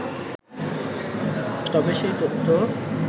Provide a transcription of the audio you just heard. তবে সেই তথ্য